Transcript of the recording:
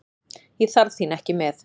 Ég þarf þín ekki með.